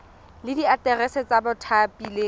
le diaterese tsa bathapi le